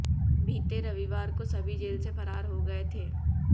बीते रविवार को सभी जेल से फरार हो गए थे